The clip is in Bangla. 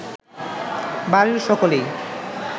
বাড়ির সকলেই